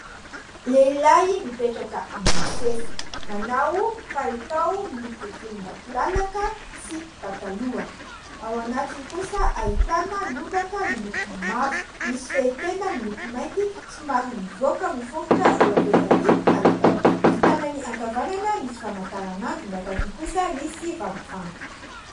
Lehilahy mipetraka ambon'ny seza. Manao palitao miloko volombatolalaka sy pataloha, ao anatiny kosa ahitana lobaka miloko mavo, misy fehitenda miloko mainty somary mivoaka miforitra eo ivelan'ny palitao, ny tanany ankavanana misy famantaranandro, ny ankavia kosa misy vangovango.